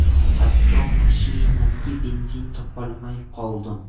Hatto mashinamga benzin topolmay qoldim.